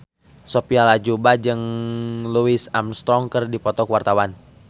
Sophia Latjuba jeung Louis Armstrong keur dipoto ku wartawan